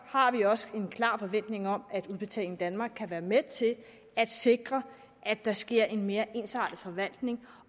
har vi også en klar forventning om at udbetaling danmark kan være med til at sikre at der sker en mere ensartet forvaltning